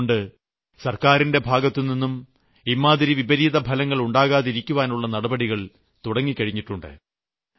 അതുകൊണ്ട് സർക്കാരിന്റെ ഭാഗത്തുനിന്നും ഇമ്മാതിരി വിപരീതഫലങ്ങൾ ഉണ്ടാകാതിരിക്കുവാനുള്ള നടപടികൾ തുടങ്ങിക്കഴിഞ്ഞിട്ടുണ്ട്